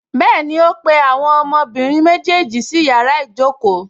Bẹ́ẹ̀ni, ó pe àwọn ọmọbìnrin méjèèjì sí yàrá ìjókòó